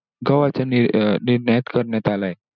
गव्हाचं नि अं निर्यात करण्यात आलाय.